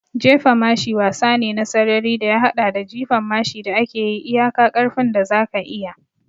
Jefa mashi wasa ne na sarari da ya haɗa da jifan mashi da ake yi iyaka ƙarfin da zaka iya.